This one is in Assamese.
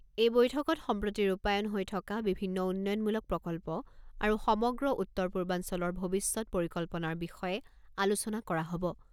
এই বৈঠকত সম্প্ৰতি ৰূপায়ণ হৈ থকা বিভিন্ন উন্নয়নমূলক প্ৰকল্প আৰু সমগ্ৰ উত্তৰ পূৰ্বাঞ্চলৰ ভৱিষ্যৎ পৰিকল্পনাৰ বিষয়ে আলোচনা কৰা হ'ব।